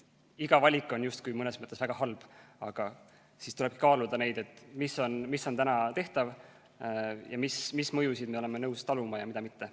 Iga valik on mõnes mõttes justkui väga halb, aga siis tulebki kaaluda, mis on tehtav ning mis mõjusid me oleme nõus taluma ja mida mitte.